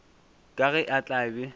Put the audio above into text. ka ge a tla be